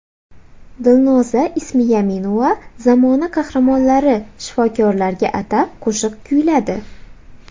Dilnoza Ismiyaminova zamona qahramonlari shifokorlarga atab qo‘shiq kuyladi.